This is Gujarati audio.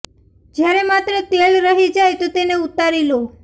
જયારે માત્ર તેલ રહી જાય તો તેને ઉતારી લો